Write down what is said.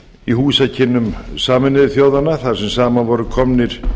í húsakynnum sameinuðu þjóðanna þar sem saman voru komnir